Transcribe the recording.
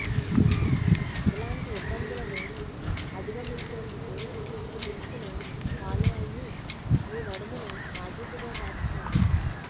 ఇలాంటి ఇబ్బందులను అధిగమించేందుకు ఈ టిప్స్ ను ఫాలో అయ్యి మీ నడుమును నాజూకుగా మార్చుకోండి